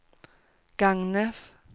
Gagnef